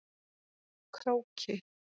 Króki